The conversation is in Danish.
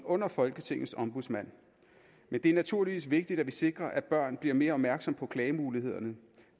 under folketingets ombudsmand men det er naturligvis vigtigt at vi sikrer at børn bliver mere opmærksomme på klagemulighederne